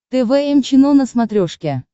тэ вэ эм чено на смотрешке